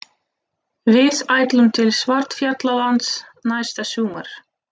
Við ætlum til Svartfjallalands næsta sumar.